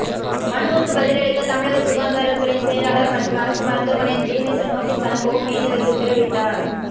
மனுவுக்கு பதிலளிக்க தமிழக சுகாதாரத்துறை செயலாளர் மற்றும் அரசு மருத்துவமனை டீனுக்கு நோட்டீஸ் அனுப்பவும் நீதிபதி உத்தரவிட்டார்